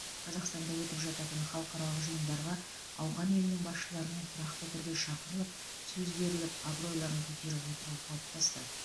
қазақстанда өтіп жататын халықаралық жиындарға ауған елінің басшыларының тұрақты түрде шақырылып сөз беріліп абыройларын көтеріп отыру қалыптасты